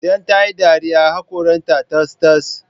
Idan tayi dariya, haƙoran ta tas-tas